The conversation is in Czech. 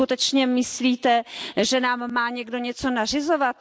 Vy si skutečně myslíte, že nám má někdo něco nařizovat?